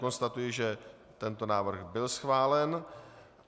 Konstatuji, že tento návrh byl schválen.